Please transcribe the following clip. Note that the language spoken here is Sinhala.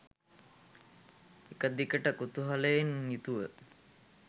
එක දිගට කුතුහලයෙන් යුතුව